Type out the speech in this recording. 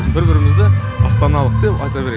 бір бірімізді астаналық деп айта берем